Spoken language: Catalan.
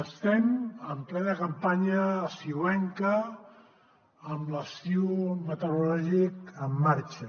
estem en plena campanya estiuenca amb l’estiu meteorològic en marxa